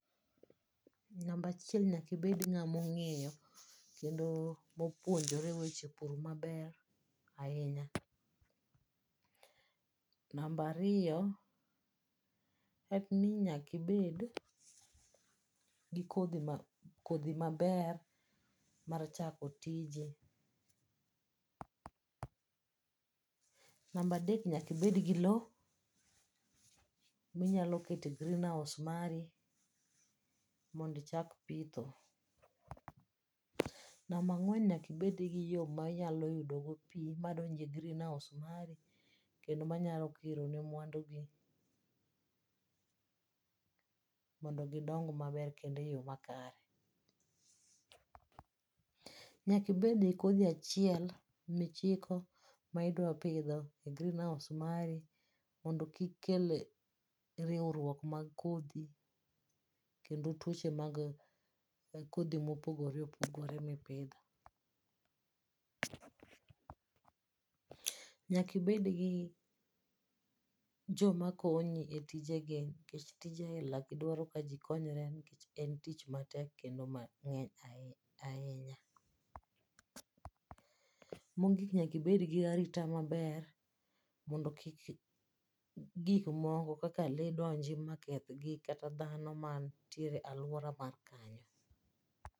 Namba achiel nyaka ibed ng'ama ong'eyo kendo mopuonjore weche pur maber ahinya. Namba ariyo en ni nyaka ibed gi kodhi kodhi maber mar chako tiji. Namba adek nyaka ibed gi lowo ma inyalo kete green house mari mondo ichak pitho. Namba ang'wen nyaka ibed gi yo mainyalo yudogo pi madonjo e green house mari kendo manyalo kiro ne mwandu gi pi mondo gidong maber kendo eyo makare. Nyaka ibed gi kodhi a chiel ma iiko ma idwa pidho e green house mari mondo kik kel riwruok mar kodhi, kendo tuoche mag kodhi mopogore opogore mipidho. Nyaka ibed kod jom a konyi e tije gi nikech tije ainagi dwaro kaji konyore en tich matek kendo mang'eny ahinya. Mogik nyaka ibed gi arita maber mondo kik gik moko kaka lee donj maketh gik kata dhano mantie e aluora ma kanyo.